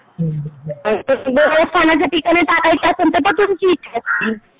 देवस्थानाच्या ठिकाणी टाकायचे असेल तर ती तुमची इच्छा असती.